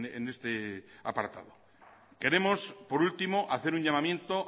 en este apartado queremos por último hacer un llamamiento